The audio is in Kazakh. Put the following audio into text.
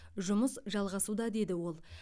жұмыс жалғасуда деді ол